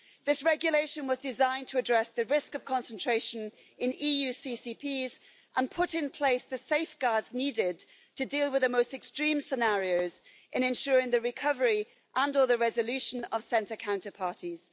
This regulation was designed to address the risk of concentration in EU central counterparties and put in place the safeguards needed to deal with the most extreme scenarios in ensuring the recovery and or the resolution of central counterparties.